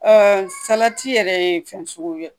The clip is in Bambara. Aa salati yɛrɛ ye fɛn suguya